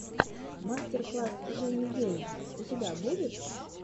мастер класс жени гейн у тебя будет